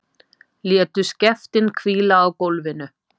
Létu skeftin hvíla á gólfinu.